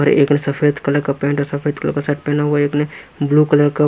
और एक सफेद कलर का पैंट सफेद कलर का शर्ट पहने हुए एक ने ब्लू कलर का।